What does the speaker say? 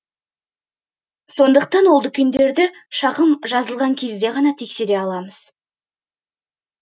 сондықтан ол дүкендерді шағым жазылған кезде ғана тексере аламыз